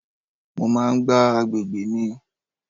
Mo máa ń gbá àgbègbè mi.